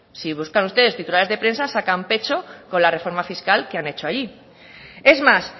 si buscan ustedes titulares de prensa sacan pecho con la reforma fiscal que han hecho allí es más